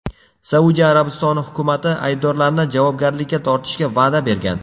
Saudiya Arabistoni hukumati aybdorlarni javobgarlikka tortishga va’da bergan.